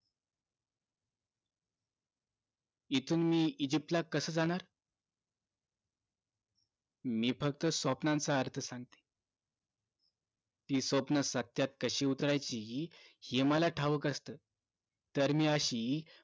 इथून इजिप्त ला कास जाणार मी फक्त स्वप्नांचा अर्थ सांगितलं ती स्वप्न सत्यात कशी उतरायची हे मला ठाऊक असत तर मी अशी